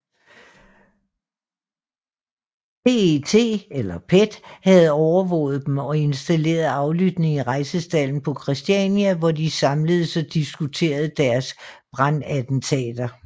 PET havde overvåget dem og installeret aflytning i Rejsestalden på Christiania hvor de samledes og diskuterede deres brandattentater